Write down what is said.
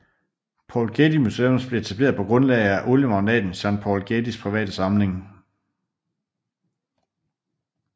Paul Getty Museums blev etableret på grundlag af oliemagnaten Jean Paul Gettys private samling